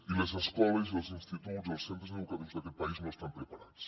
i les escoles els instituts i els centres educatius d’aquest país no estan preparats